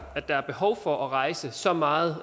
at der er behov for at rejse så meget